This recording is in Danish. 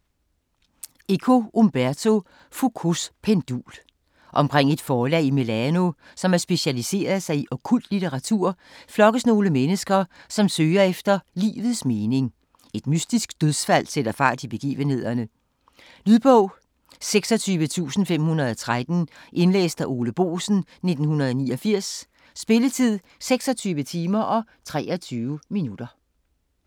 Eco, Umberto: Foucaults pendul Omkring et forlag i Milano, som har specialiseret sig i okkult litteratur, flokkes nogle mennesker, som søger efter livets mening. Et mystisk dødsfald sætter fart i begivenhederne. Lydbog 26513 Indlæst af Ole Boesen, 1989. Spilletid: 26 timer, 23 minutter.